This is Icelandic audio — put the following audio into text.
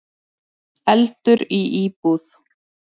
Eldur í íbúð